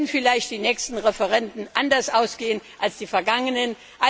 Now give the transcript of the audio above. Dann werden vielleicht die nächsten Referenden anders ausgehen als die vergangenen.